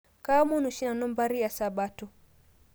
Kaamon oshii nanu mpari eesabato